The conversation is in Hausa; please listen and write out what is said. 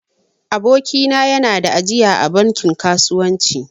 Aboki na ya na da ajiya a bankin kasuwanci